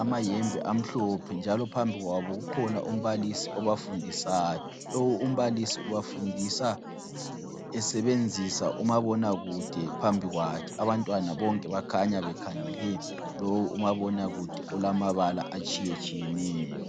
amahembe amhlophe njalo phambi kwabo kukhona umbalisi obafundisayo. Lowu umbalisi ubafundisa esebenzisa umabonakude phambi kwakhe. Abantwana bonke bakhanya bekhangele lowu umabonakude olamabala atshiyetshiyeneyo.